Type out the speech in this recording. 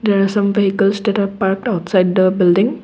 there are some vehicles are parked outside the building.